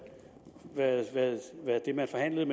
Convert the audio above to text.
det man forhandlede